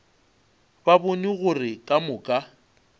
ba bone gore ka moka